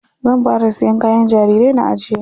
Zan fara siyan kayan jarirai na ajiye.